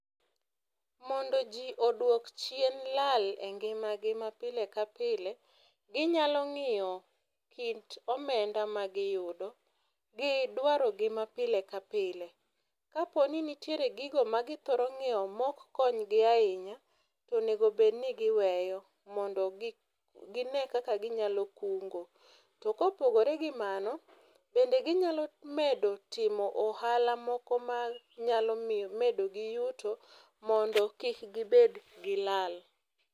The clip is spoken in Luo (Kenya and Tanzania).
Mondo jii oduok chien lal e ngimagi ma pile ka pile ginyalo ng’iyo kit omenda ma giyudo gi dwarogi ma pile ka pile. Kaponi nitiere gigo ma githoro ngiew maok konygi ahinya to onego obed ni giweyo mondo gine kaka ginyalo kungo. To kopogore gi mano bende ginyalo medo timo ohala moko manyalo medo gi yuto mondo kik gibed gi lal